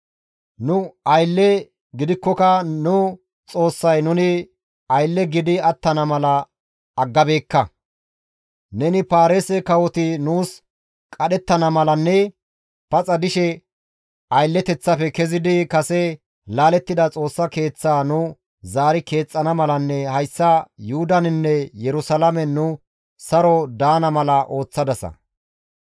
Nu aylle gidikkoka nu Xoossay nuni aylle gidi attana mala aggabeekka; neni Paarise kawoti nuus qadhettana malanne paxa dishe aylleteththafe kezidi kase laalettida Xoossa Keeththaa nu zaari keexxana malanne hayssa Yuhudaninne Yerusalaamen nu saro daana mala ooththadasa.